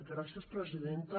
gràcies presidenta